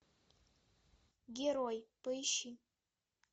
герой поищи